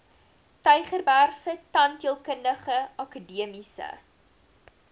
tygerbergse tandheelkundige akademiese